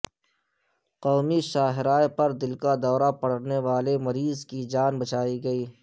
قومی شاہراہ پر دل کا دورہ پڑنے والے مریض کی جان بچائی گئی